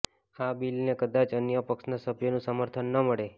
આ બીલને કદાચ અન્ય પક્ષના સભ્યોનું સમર્થન ન મળે